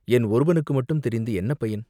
என் ஒருவனுக்கு மட்டும் தெரிந்து என்ன பயன்?